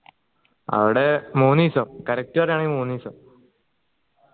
അവിടെ മൂന്ന് ദിവസം correct പറയാണേൽ മൂന്ന് ദിവസം